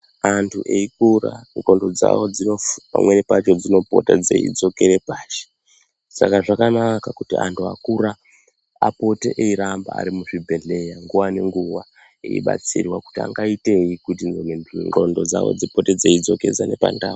Antu eikura ndxondo dzawo pamweni pacho dzinopota dzei dzokera pashi saka zvakanaka kuti antu akura apote iyiramba ari mu zvibhedhlera nguva ne nguva eibatsirwa kuti angaitei kuti ndxondo dzawo dzipote dzei dzokesane pa ndau.